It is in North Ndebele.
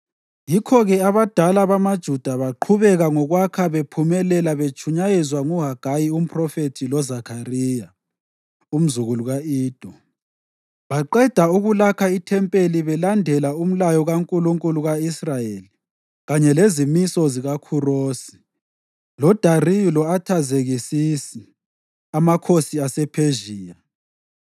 Yikho-ke abadala bamaJuda baqhubeka ngokwakha bephumelela betshunyayezwa nguHagayi umphrofethi loZakhariya, umzukulu ka-Ido. Baqeda ukulakha ithempeli belandela umlayo kaNkulunkulu ka-Israyeli kanye lezimiso zikaKhurosi, loDariyu lo-Athazekisisi, amakhosi asePhezhiya.